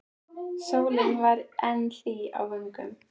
Sólin var enn hlý á vöngum.